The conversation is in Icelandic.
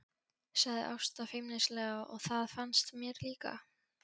sagði Ása feimnislega og það fannst mér líka.